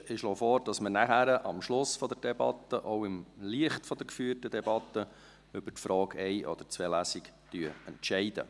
Ich schlage vor, dass wir am Schluss der Debatte, auch im Licht der geführten Debatte, über die Frage nach einer oder zwei Lesungen entscheiden.